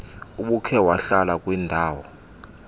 ubukhe wahlala kwindaw